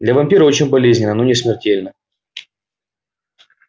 для вампира очень болезненно но не смертельно